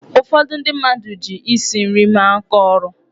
Ụfọdụ ndị mmadụ ji isi nri mere aka ọrụ.